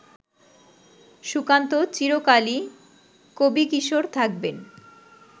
সুকান্ত চিরকালই কবিকিশোর থাকবেন